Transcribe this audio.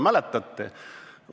Mäletate?